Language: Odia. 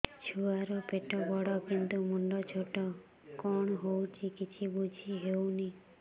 ଛୁଆର ପେଟବଡ଼ କିନ୍ତୁ ମୁଣ୍ଡ ଛୋଟ କଣ ହଉଚି କିଛି ଵୁଝିହୋଉନି